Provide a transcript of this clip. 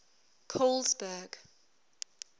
colesberg